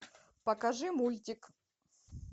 покажи мультик